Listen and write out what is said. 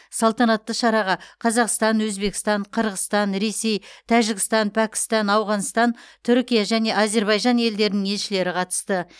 салтанатты шараға қазақстан өзбекстан қырғызстан ресей тәжікстан пәкістан ауғанстан түркия және әзербайжан елдерінің елшілері қатысты